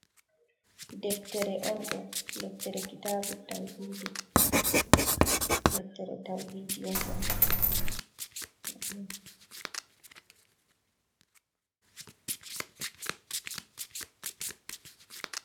Deftere on ɗo. Deftere kitabu tawhidi, Deftere tauhidi on ɗo.